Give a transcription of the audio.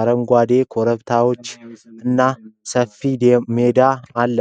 አረንጓዴ ኮረብታዎችና ሰፊ ሜዳ አለ።